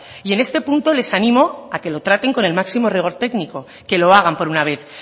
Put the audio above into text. y en este punto les animo a que lo traten con el máximo rigor técnico que lo hagan por una vez